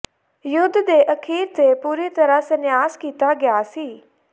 ਯੁੱਧ ਦੇ ਅਖੀਰ ਤੇ ਪੂਰੀ ਤਰ੍ਹਾਂ ਸੰਨਿਆਸ ਕੀਤਾ ਗਿਆ ਸੀ